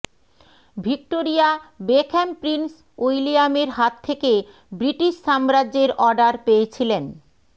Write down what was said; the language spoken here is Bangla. ভিক্টোরিয়া বেকহ্যাম প্রিন্স উইলিয়ামের হাত থেকে ব্রিটিশ সাম্রাজ্যের অর্ডার পেয়েছিলেন